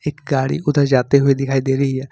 एक गाड़ी उधर जाते हुए दिखाई दे रही है।